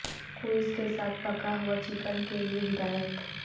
quiz کے ساتھ پکا ہوا چکن کے لئے ہدایت